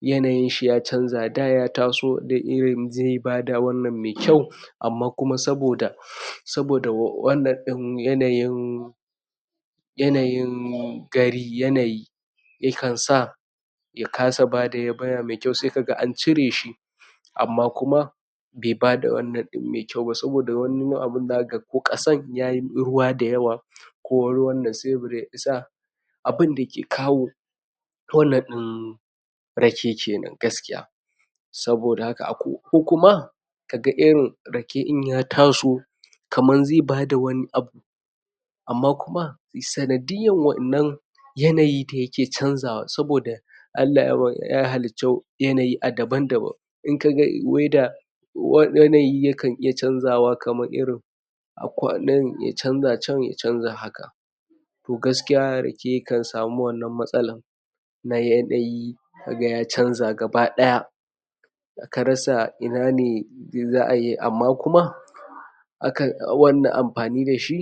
yanayin shi ya canja da ya taso da irin da zai bada wannan mai kyau amma kuma saboda saboda wannan ɗin yanayin yanayin gari yanayi yakan sa ya kasa bada yabanya mai kyau sai ka ga an cire shi amma kuma bai bada wannan mai kyau ba saboda wani abin haka ko ƙasar ya yi ruwa da yawa ko ruwan da saibur ya isa abin da ke kawo wannan ɗin rake kenan gaskiya saboda haka a ko kuma ka ga irin rake in ya taso kamar zai bada wani abu amma kuma sanadiyar wannan yanayi da yake canja wa saboda Allah yawa ya halinto yanayi a daban-daban in ka ga (weather) wani yanayi yakan iya canja wa kamar irin a ko a nan ya canja can ya canja haka to gaskiya rake kan samu wannan matsalar ya yanayi ka ga ya canja gaba ɗaya ka rasa ina ne mai za a yi amma kuma akan awon na amfani da shi